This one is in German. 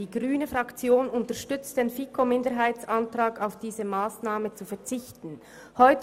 Die grüne Fraktion unterstützt die Planungserklärung der FiKo-Minderheit, welche auf diese Massnahme verzichten will.